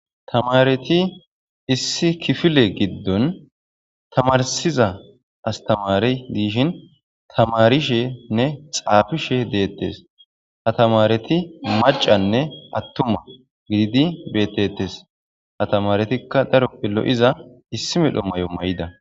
Tamareti issi kifile giddon tamarsiza astamari diishin tamarishenne xaafishe deettes ha tamareti macanne attuma gididi beettetes ha tamaretikka daro billo7iza issi medhommayo may'ida.